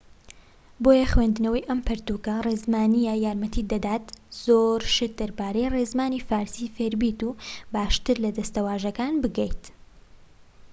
بۆیە خوێندنەوەی ئەم پەرتووکە ڕێزمانیە یارمەتیت دەدات زۆر شت دەربارەی ڕێزمانی فارسی فێربیت و باشتر لە دەستەواژەکان بگەیت‎